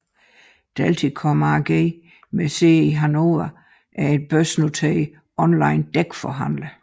Delticom AG med sæde i Hannover er en børsnoteret onlinedækforhandler